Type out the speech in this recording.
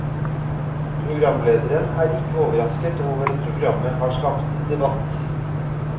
Programlederen er ikke overrasket over at programmet har skapt debatt.